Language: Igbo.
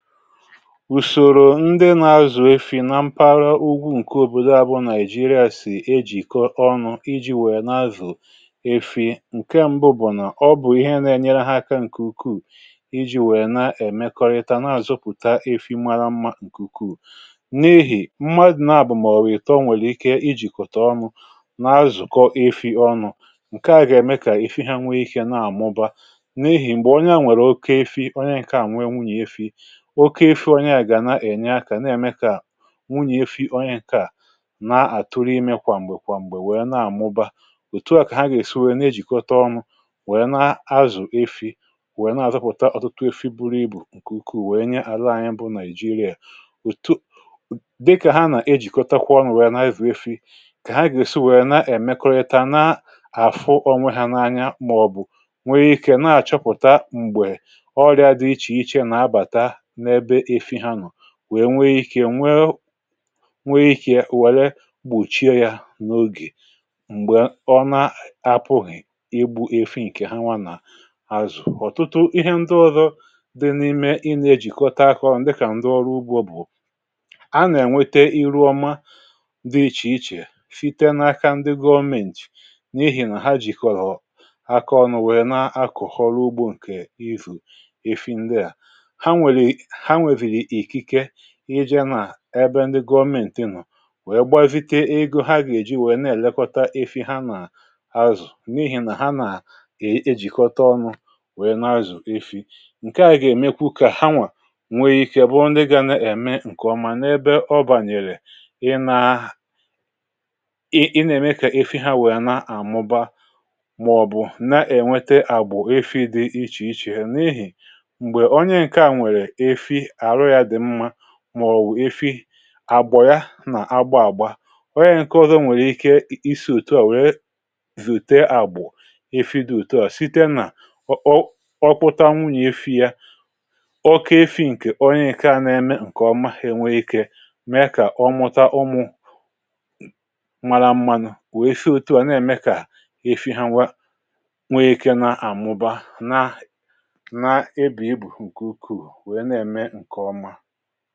Ùsòrò ndị nà-azụ̀ efi̇ nà mpaghara ugwu,.. nke òbòdo abụọ Nigeria, sì ejikọ̀ ọnụ iji wèe nà-azụ̀ efi̇. um Nke m̀bụ̀ bụ̀ nà ọ bụ̀ ihe nà-enyere ha aka nke ukwuù, iji wèe nà-èmekọrịta n’àzụpụ̀ta efi̇ mȧrà mmȧ, nke ukwuù n’ehì mmadụ̀. Nà àbụ̀mà ọ̀wụ̀rụ̀ ìtò, um nwèrè ike iji jikọtà ọnụ n’àzụkọ̀ efi̇ ọnụ. Nke a gà-ème kà efi̇ ha nwèe ike nà-àmụ̀ba n’ehì. M̀gbè onye a nwèrè oke efi̇, onye nke ànwụ̀nwùnyè efi̇ um oke àfị̇, onye a gà na-ènye àkà nà-èmekà wụnyè àfị̇ onye nke a. Nà-àtụrụ̀ ime kwàm̀gbè kwàm̀gbè... wèe nà-àmụ̀ba. Òtù a kà ha gà-èsi wèe nà-ejikọ̀ ọnụ wèe nà-azụ̀ efi̇, wèe nà-àzụpụ̀ta ọ̀tụtụ àfị̇ buru ibù um nke ukwuù, wèe nye àlà anyị bụ̀ Nigeria. Òtù dịkà ha nà-ejikọtakwa ọnụ, wèe nà-ezù àfị̇, kà ha gà-èsi wèe nà-èmekọrịta, nà-àfụ̀ onwe hȧ n’anya, màọ̀bụ̀ nwèrè ike, nà-àchọpụ̀ta m̀gbè ọrịa dị ichèichè nà-abàtà, wèe nwee iké, wèe gbùchie ya n’ogè. M̀gbè ọ nà-apụghị ebu efi̇, um nke ha nwà nà-azụ̀, ọ̀tụtụ ihe ndị ọzọ dị n’ime ịnà-ejikọ̀ta àkọ̀, dịka ndị ọrụ ugbò, bụ̀ a nà-ènwètè iru ọma dị ichèichè, fite n’aka ndị Government, n’èhì nà ha jikọ̀rọ̀ aka ọnụ, wèe nà-akọ̀họ̀ ọrụ ugbò, nke ifu efi̇. Ndị a íjè n’àbé ndị Government nọ, wèe gbutite ego ha gà-èji nwèe nà-èlekọta efi̇ ha, nà-azụ̀, n’ihì nà ha nà-ejikọ̀ta ọnụ, nà-azụ̀ efi̇. Nke à gà-ème, kù kà ha nwà nwee iké, bụ̀ ndị gà nà-ème nke ọma n’ebe ọ bànyèrè ị nà-àhà,... ị nà-ème kà efi̇ ha nwèe nà-àmụ̀ba, màọ̀bụ̀ nà-ènwètè àgbọ̀ efi̇ dị ichèichè. Ha n’ihì màọ̀wụ̀ efi̇ àgbọ̀ ya nà-agba àgba, onye nke ọzọ nwèrè ike isi òtù a, wèe zòte àgbọ̀ efi̇ dị òtù a, site nà ọkpụta nwụ̀ nà efi̇ ya um oke efi̇ nke onye ike a nà-ème, nke ọ̀ maghị̇. Nwèe ike mèe kà ọ mụta ụmụ̀ mȧrà mmánụ̀, wèe fée òtù a, n’ème kà efi̇ ha nwa, wèe iké nà-àmụ̀ba, nà nà-ebì ibù nke ukwuu, nke ọma.